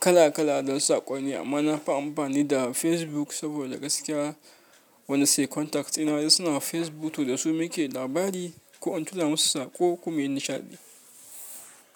kala kala don saƙonni amma nafi amfani da Facebook saboda gaskiya wani sai'i contacts ɗina suna Facebook to da su muke labari ko in tura musu saƙo ko muyi nishaɗi.